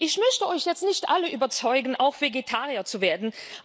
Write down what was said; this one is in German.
Ich möchte euch jetzt nicht alle überzeugen, auch Vegetarier zu werden.